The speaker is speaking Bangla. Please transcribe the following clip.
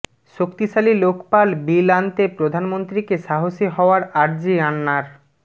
শক্তিশালী লোকপাল বিল আনতে প্রধানমন্ত্রীকে সাহসী হওয়ার আর্জি আন্নার